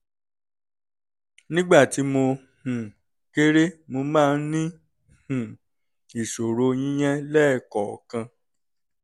nígbà tí mo um kéré mo máa ń ní um ìṣòro yíyán lẹ́ẹ̀kọ̀ọ̀kan